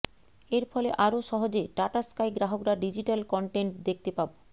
এর ফলে আরও সহজে টাটা স্কাই গ্রাহকরা ডিজিটাল কনটেন্ট দেখতে পাব